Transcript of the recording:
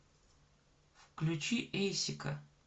включи эйсика